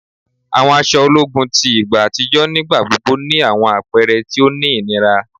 Àwọn aṣọ ológun ti igba àtijọ́ nígbà gbogbo ni àwọn àpẹrẹ ti o ní ìnira